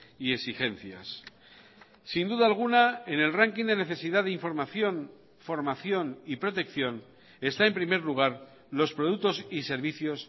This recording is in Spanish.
y exigencias sin duda alguna en el ranking de necesidad de información formación y protección está en primer lugar los productos y servicios